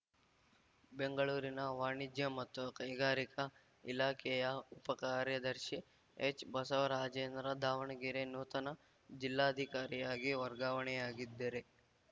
ಬೆಂಗಳೂರಿನ ವಾಣಿಜ್ಯ ಮತ್ತು ಕೈಗಾರಿಕಾ ಇಲಾಖೆಯ ಉಪ ಕಾರ್ಯದರ್ಶಿ ಎಚ್‌ಬಸವರಾಜೇಂದ್ರ ದಾವಣಗೆರೆ ನೂತನ ಜಿಲ್ಲಾಧಿಕಾರಿಯಾಗಿ ವರ್ಗಾವಣೆಯಾಗಿದ್ದರೆ